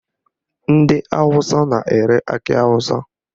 Ndị Awụsa na-ere akị awụsa